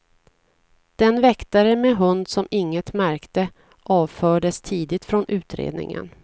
Den väktare med hund som inget märkte avfördes tidigt från utredningen.